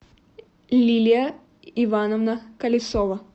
лилия ивановна колесова